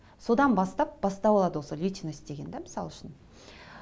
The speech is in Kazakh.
содан бастап бастау алады осы личность деген де мысал үшін